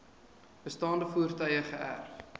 bestaande voertuie geërf